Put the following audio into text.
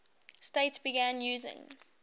states began using